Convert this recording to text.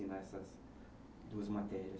Ensinar essas duas matérias?